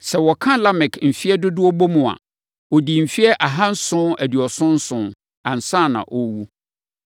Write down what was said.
Sɛ wɔka Lamek mfeɛ dodoɔ bom a, ɔdii mfeɛ ahanson aduɔson nson, ansa na ɔrewu.